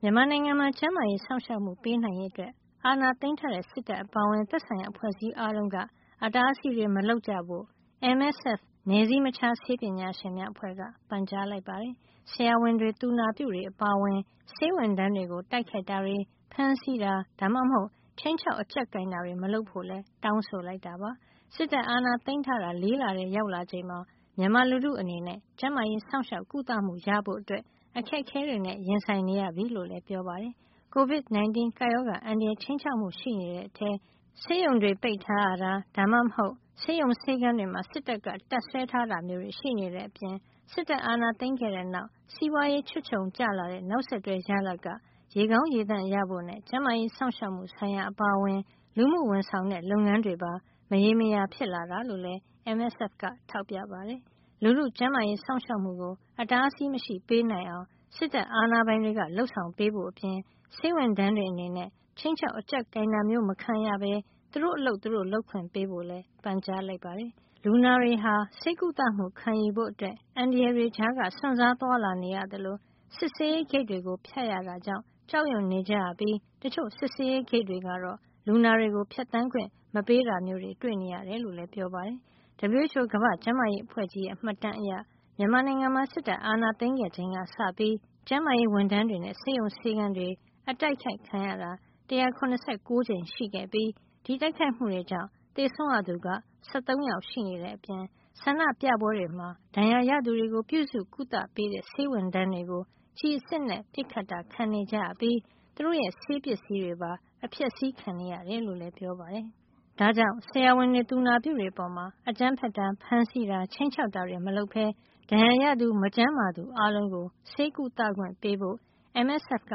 မြန်မာနိုင်ငံမှာ ကျန်းမာရေးစောင့်ရှောက်မှု ပေးနိုင်ရေး အတွက် အာဏာသိမ်းထားတဲ့ စစ်တပ်အပါအဝင် သက်ဆိုင်ရာ အဖွဲ့အစည်း အားလုံးက အတားအဆီးတွေ မလုပ်ကြဖို့ MSF နည်းစည်းမခြားဆေးပညာရှင်များအဖွဲ့က ပန်ကြားလိုက်ပါတယ်။ ဆရာဝန်တွေ သူနာပြုတွေအပါအဝင် ဆေးဝန်ထမ်းတွေကို တိုက်ခိုက်တာတွေ ၊ ဖမ်းဆီးတာ ဒါမှမဟုတ် ခြိမ်းခြောက် အကျပ်ကိုင်တာတွေ မလုပ်ဖို့လည်း တောင်းဆိုလိုက်တာပါ။ စစ်တပ်ကအာဏာသိမ်းထားတာ ၄ လထဲ ရောက်လာချိန်မှာ မြန်မာလူထုအနေနဲ့ ကျန်းမာရေးစောင့်ရှောက် ကုသမှုရဖို့ အခက်ခဲတွေနဲ့ ရင်ဆိုင်နေရပြီ လို့လည်း ပြောပါတယ်။ COVID-19 ကပ်ရောဂါ အန္တရာယ် ခြိမ်းခြောက်မှု ရှိနေတဲ့အထဲ ဆေးရုံတွေ ပိတ်ထားရတာ ဒါမှမဟုတ် ဆေးရုံဆေးခန်းတွေမှာ စစ်တပ်ကတပ်စွဲထားတာမျိုးတွေ ရှိနေတဲ့အပြင့် စစ်တပ်အာဏာသိမ်းခဲ့တဲ့နောက် စီးပွားရေးချွတ်ခြုံကျလာတဲ့ နောက်ဆက်တွဲ ရလဒ်က ရေကောင်းရေသန့်ရဖို့နဲ့ ကျန်းမာရေးစောင့်ရှောက်မှု ဆိုင်ရာ အပါအဝင် လူမှုဝန်ဆောင်တဲ့ လုပ်ငန်းတွေပါ မရေမရာ ဖြစ်လာတာလို့လည်း MSF က ထောက်ပြပါတယ်။ လူထုကျန်းမာရေးစောင့်ရှောက်မှုကို အတားအဆီးမရှိ ပေးနိုင်အောင် စစ်တပ်အာဏာပိုင်တွေက လုပ်ဆောင်ပေးဖို့ အပြင် ဆေးဝန်ထမ်းတွေ အနေနဲ့ အကြောက်တရားကင်းကင်းနဲ့ ခြိမ်းခြောက် အကြပ်ကိုင်တာမျိုး မခံရပဲ သူတို့ အလုပ် သူတို့ လုပ်ခွင့်ပေးဖို့လည်း ပန်ကြားလိုက်ပါတယ်။ လူနာတွေဟာလည်း ဆေးကုသမှု ခံယူဖို့အတွက် အန္တရာယ်တွေကြားက စွန့်စားသွားလာနေရသလို၊ စစ်ဆေးရေးဂိတ်တွေကို ဖြတ်ရတာကြောင့် ကြောက်ရွံ့နေကြရပြီး တချို့ စစ်ဆေးရေးဂိတ်တွေကတော့ လူနာတွေကို ဖြတ်သန်းခွင့် မပေးတာမျိုး တွေ့နေရကြောင်းလည်း ပြောပါတယ်။ WHO ကမ္ဘာ့ကျန်းမာရေးအဖွဲ့ကြီးရဲ့ မှတ်တမ်းအရ မြန်မာနိုင်ငံမှာ စစ်တပ်အာဏာ သိမ်းခဲ့ချိန်ကစပြီး ကျန်းမာရေးဝန်ထမ်းတွေနဲ့ ဆေးရုံဆေးခန်းတွေ အတိုက်ခိုက်ခံရတာ ၁၇၉ ကြိမ် ရှိခဲ့ပြီး ဒီတိုက်ခိုက်မှုတွေကြောင့် သေဆုံးရသူ ၁၃ ယောက် ရှိနေတဲ့ အပြင် ဆန္ဒပြပွဲတွေမှာ ဒဏ်ရာရသူတွေကို ပြုစုကုသပေးတဲ့ ဆေးဝန်ထမ်းတွေကို ကျည်အစစ်နဲ့ ပစ်ခတ်တာ ခံကြရပြီး သူတို့ရဲ့ ဆေးပစ္စည်းတွေပါ အဖျက်ဆီးခံခဲ့ရတယ်လို့လည်း ပြောပါတယ်။ ဒါကြောင့် ဆရာဝန်တွေ သူနာပြုတွေ အပေါ် အကြမ်းဖက်တာ၊ ဖမ်းဆီးတာ ခြိမ်းခြောက်တာတွေ မလုပ်ပဲ ဒဏ်ရာရသူ မကျန်းမာသူအားလုံးကို ဆေးကုသခွင့် ပေးဖို့လည်း MSF က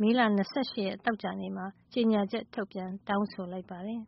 မေလ ၂၈ ရက် သောကြာနေ့မှာ ကြေညာချက် ထုတ်ပြန် တောင်းဆိုလိုက်ပါတယ်